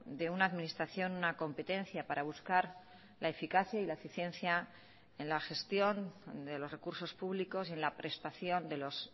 de una administración una competencia para buscar la eficacia y la eficiencia en la gestión de los recursos públicos y en la prestación de los